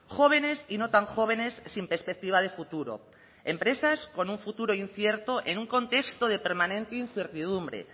jóvenes y no tan jóvenes sin perspectiva de futuro empresas con un futuro incierto en un contexto de permanente incertidumbre